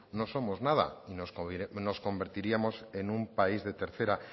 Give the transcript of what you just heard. no somos nada y nos convertiríamos en un país de tercera